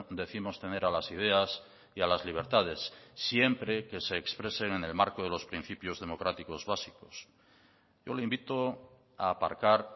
décimos tener a las ideas y a las libertades siempre que se expresen en el marco de los principios democráticos básicos yo le invito a aparcar